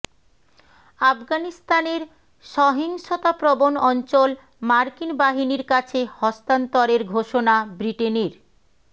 আফগানিস্তানের সহিংসতাপ্রবণ অঞ্চল মার্কিন বাহিনীর কাছে হস্তান্তরের ঘোষণা ব্রিটেনের